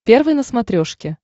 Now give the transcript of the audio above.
первый на смотрешке